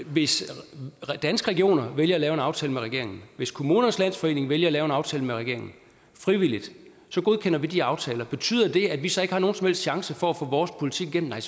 hvis danske regioner vælger at lave en aftale med regeringen hvis kommunernes landsforening vælger at lave en aftale med regeringen frivilligt så godkender vi de aftaler betyder det at vi så ikke har nogen som helst chance for at få vores politik igennem nej